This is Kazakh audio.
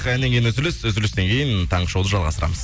әннен кейін үзіліс үзілістен кейін таңғы шоуды жалғастырамыз